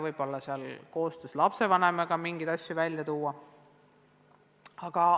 Võib-olla saab koostöös lapsevanemaga mingeid asju välja tuua.